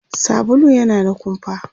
sabulu yana da kumfa